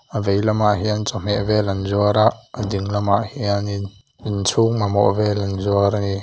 a vei lamah hian chawhmeh vel an zuar a a ding lamah hianin inchhung mamawh vel an zuar ani.